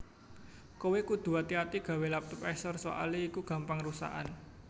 Kowe kudu ati ati gawe laptop Acer soale iku gampang rusakan